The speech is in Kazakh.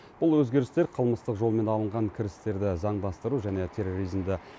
бұл өзгерістер қылмыстық жолмен алынған кірістерді заңдастыру және терроризмді